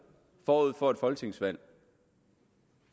forud for folketingsvalget